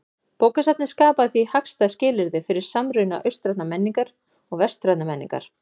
Bókasafnið skapaði því hagstæð skilyrði fyrir samruna austrænnar og vestrænnar menningar.